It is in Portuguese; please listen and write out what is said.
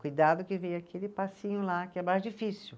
Cuidado que vem aquele passinho lá que é mais difícil.